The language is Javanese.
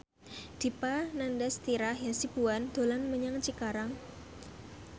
Dipa Nandastyra Hasibuan dolan menyang Cikarang